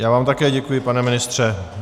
Já vám také děkuji, pane ministře.